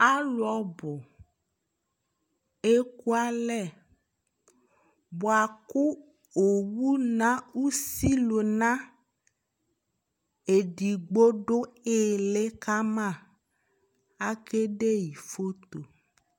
alò ɔbu eku alɛ boa kò owu na usi luna edigbo do ili kama ake de yi foto